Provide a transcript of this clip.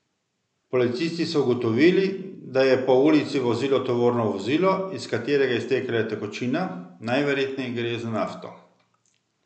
Policisti so ugotovili, da je po ulici vozilo tovorno vozilo, iz katerega je iztekala tekočina, najverjetneje gre za nafto.